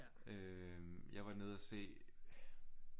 Øh jeg var nede og se